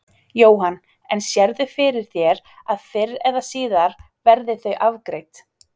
Jóhann: En sérðu fyrir þér að fyrr eða síðar verði þau afgreidd?